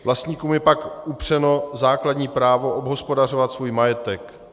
Vlastníkům je pak upřeno základní právo obhospodařovávat svůj majetek.